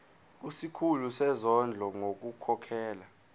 kusikhulu sezondlo ngokukhokhela